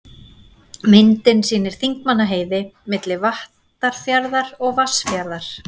Myndin sýnir Þingmannaheiði, milli Vattarfjarðar og Vatnsfjarðar.